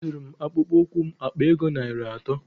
A zụrụ m akpụkpọ ụkwụ m akpa ego narị atọ.